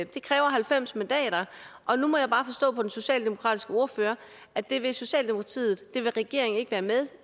det kræver halvfems mandater og nu må jeg bare forstå på den socialdemokratiske ordfører at det vil socialdemokratiet og regeringen ikke være med